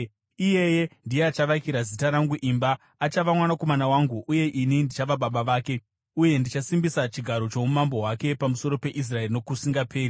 Iyeye ndiye achavakira Zita rangu imba. Achava mwanakomana wangu uye ini ndichava baba vake. Uye ndichasimbisa chigaro choumambo hwake pamusoro peIsraeri nokusingaperi.’